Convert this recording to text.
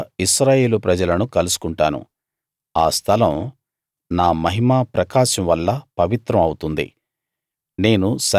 అక్కడ ఇశ్రాయేలు ప్రజలను కలుసుకుంటాను ఆ స్థలం నా మహిమా ప్రకాశం వల్ల పవిత్రం అవుతుంది